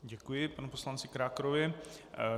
Děkuji panu poslanci Krákorovi.